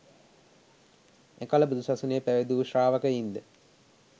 එකල බුදු සසුනේ පැවිදි වූ ශ්‍රාවකයින්ද